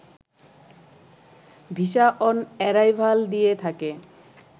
visa on arrival দিয়ে থাকে